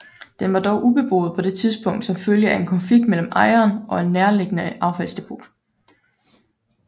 Den var dog ubeboet på det tidspunkt som følge af en konflikt mellem ejeren og et nærliggende affaldsdepot